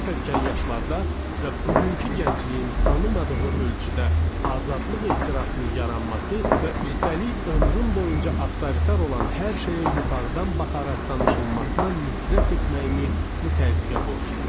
Çox erkən yaşlarda və bugünkü gəncliyin tanımadığı ölçüdə azadlıq ehtirasının yaranması və üstəlik ömrüm boyunca avtoritar olan hər şeyə yuxarıdan baxaraq danışılmasına nifrət etməyimi bu təzyiqə borcluyam.